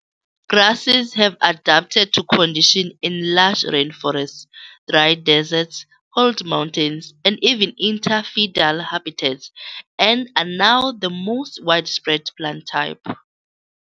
Grasses have adapted to condition in lush rain forests, dry deserts, cold mountains and even interfidal habitats, and are now the most widespread plant type.